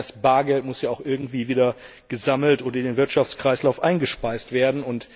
Nein, das Bargeld muss ja auch irgendwie wieder gesammelt und in den Wirtschaftskreislauf eingespeist werden.